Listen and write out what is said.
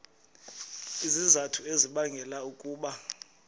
izizathu ezibangela ukuba